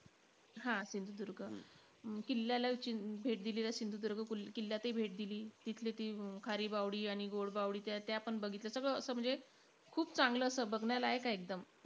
हा सिंधुदुर्ग. अं किल्ल्याला भेट दिली. सिंधुदुर्ग किल्य्यालातही भेट दिली. तिथली ती खारी बावडी आणि गोड बावडी त्या त्यापण बघितल्या. सगळं असं म्हणजे, खूप चांगलं असं बघण्यालायक आहे एकदम.